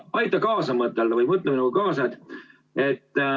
Aita kaasa mõtelda või mõtle minuga kaasa!